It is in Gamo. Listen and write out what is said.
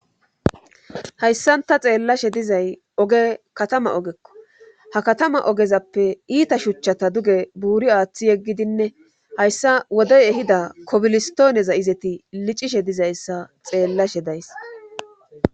hayssanta xeellashe dizay oge katama ogekko ha katama ogezappe iita shuchchata duge buuri aaththi yeggidinne hayssa wodey ehida kobilistooneza izeti licishe dizayssa xeellashe days